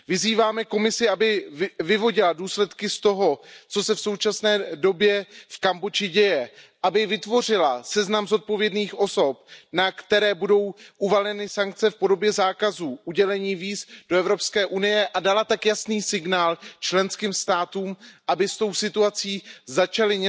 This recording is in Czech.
Vyzýváme Komisi, aby vyvodila důsledky z toho, co se v současné době v Kambodži děje, aby vytvořila seznam zodpovědných osob, na které budou uvaleny sankce v podobě zákazů udělení víz do EU, a dala tak jasný signál členským státům, aby s tou situací začaly